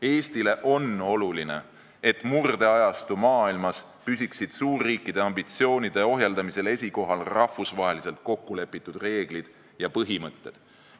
Eestile on oluline, et murdeajastu maailmas püsiksid suurriikide ambitsioonide ohjeldamisel esikohal rahvusvaheliselt kokkulepitud reeglid ja põhimõtted.